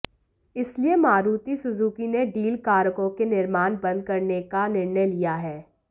इसलिए मारुति सुजुकी ने डीजल कारों के निर्माण बंद करने का निर्णय लिया है